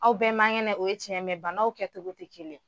Aw bɛɛ man kɛnɛ, o ye tiɲɛn ye, mɛ banaw kɛ cogo tɛ kelen ye!